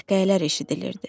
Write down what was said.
Qəhqəhələr eşidilirdi.